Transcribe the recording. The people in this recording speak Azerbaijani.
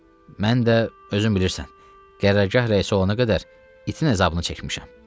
Mən də, özün bilirsən, qərərgah rəisi olana qədər itin əzabını çəkmişəm.